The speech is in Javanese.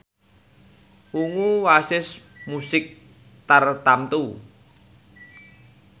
Ungu wasis musik tartamtu